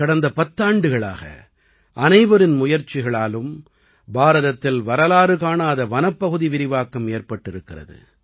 கடந்த பத்தாண்டுகளாக அனைவரின் முயற்சிகளாலும் பாரதத்தில் வரலாறுகாணாத வனப்பகுதி விரிவாக்கம் ஏற்பட்டிருக்கிறது